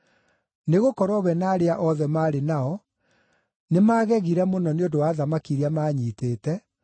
Nĩgũkorwo we na arĩa othe maarĩ nao nĩmagegire mũno nĩ ũndũ wa thamaki iria maanyiitĩte,